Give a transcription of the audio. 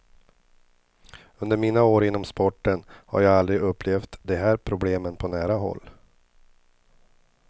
Under mina år inom sporten har jag aldrig upplevt de här problemen på nära håll.